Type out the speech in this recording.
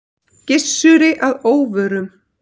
Gissuri að óvörum.